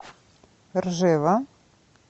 ржева